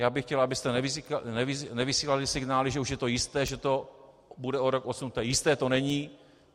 Já bych chtěl, abyste nevysílali signály, že už je to jisté, že to bude o rok odsunuté, jisté to není.